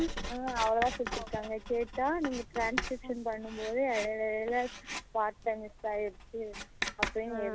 ஆ அவளோ தான் குடுத்துருக்காங்க கேட்டா நீங்க transcription பண்ணும் போது இடைல இடைல வார்த்த miss ஆகிடுச்சி அப்படினு